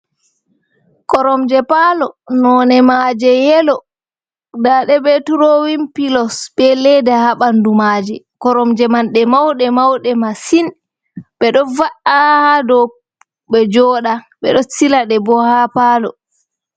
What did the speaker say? Koromje paalo none maaje yelo nda ɗe be turowin pilos be leda haa ɓandu maaje. Koromje man ɗe mauɗe-mauɗe masin. Ɓeɗo va'a haa dow ɓe joɗa, ɓeɗo silaɗe bo haa paalo.